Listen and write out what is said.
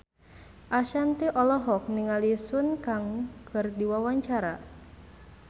Ashanti olohok ningali Sun Kang keur diwawancara